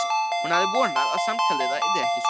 Hún hafði vonað, að samtal þeirra yrði ekki svona.